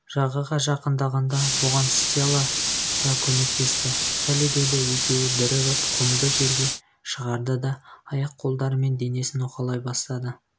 жағаға жақындағанда бұған стелла да көмектесті хеллидэйді екеуі бірігіп құмды жерге шығарды да аяқ-қолдары мен денесін уқалай бастады